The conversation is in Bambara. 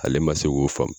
Ale ma se k'o faamu